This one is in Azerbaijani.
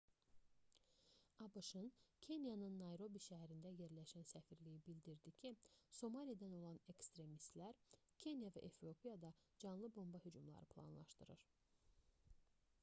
abş-ın kenyanın nayrobi şəhərində yerləşən səfirliyi bildirdi ki somalidən olan ekstremistlər kenya və efiopiyada canlı bomba hücumları planlaşdırır